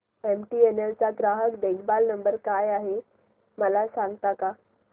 MTNL चा ग्राहक देखभाल नंबर काय आहे मला सांगता का